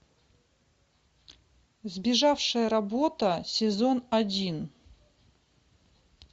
сбежавшая работа сезон один